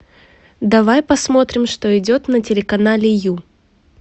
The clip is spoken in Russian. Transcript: давай посмотрим что идет на телеканале ю